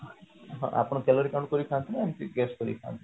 ଆପଣ calorie count କରି ଖାଆନ୍ତି ନା ଏମତି guise କରି ଖାଆନ୍ତି